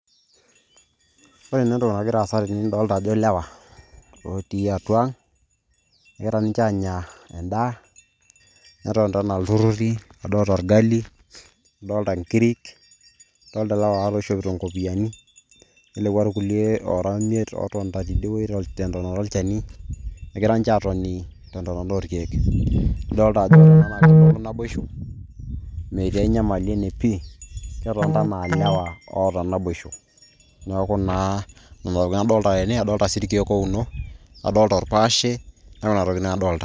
Ore naa entoki nagira aasa tene nidolta ajo ilewa otii atua ang ,egira ninche anya endaa .netonita anaa iltururi adolta orgali, adolta nkirik ,adolta ilewa ware oishopito nkopiyiani ,lelekwa irkulie oora imiet otonita tidie tiabori enchani egira niche atoni tentonota oorkiek.